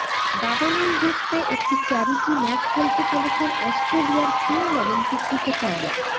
দাবানল রুখতে একটি চ্যারিটি ম্যাচ খেলতে চলেছেন অস্ট্রেলিয়ার কিংবদন্তি ক্রিকেটাররা